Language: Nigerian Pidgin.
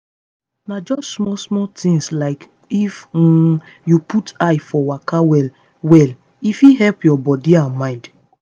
na just small-small things like if um you put eye for waka well well e fit help your body and mind.